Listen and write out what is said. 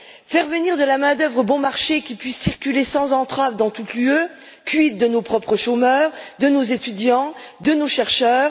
Faire venir de la main d'œuvre bon marché qui puisse circuler sans entrave dans toute l'Union européenne, quid de nos propres chômeurs, de nos étudiants et de nos chercheurs?